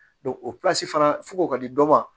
o fana fo k'o ka di dɔ ma